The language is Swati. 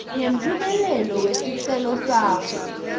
ngemphumela wesicelo sakho